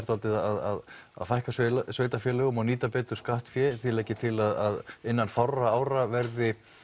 svolítið að fækka sveitarfélögum og nýta betur skattfé þið leggið til að innan fárra ára verði